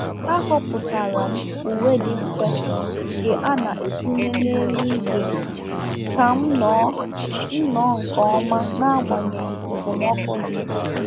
Ahọpụtara m uwe dị mfe, nke a na-etinye n'elu ibe, ka m noo m noo nke oma n'agbanyeghị okpomọkụ di.